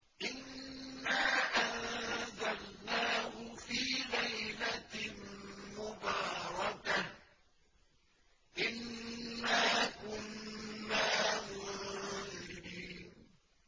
إِنَّا أَنزَلْنَاهُ فِي لَيْلَةٍ مُّبَارَكَةٍ ۚ إِنَّا كُنَّا مُنذِرِينَ